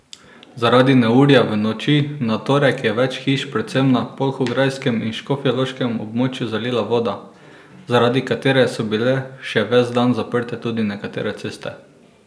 Zaradi neurja v noči na torek je več hiš predvsem na polhograjskem in škofjeloškem območju zalila voda, zaradi katere so bile še ves dan zaprte tudi nekatere ceste.